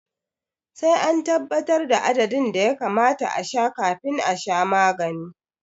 Sai an tabbatar da adadin da ya kamata a sha kafin a sha magani